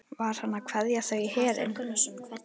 Var hann að kveðja þau í herinn?